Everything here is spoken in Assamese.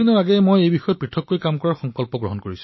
কিছু দিন পূৰ্বে মই কিছু পৃথক কাম কৰাৰ প্ৰয়াস কৰিলো